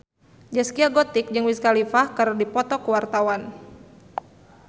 Zaskia Gotik jeung Wiz Khalifa keur dipoto ku wartawan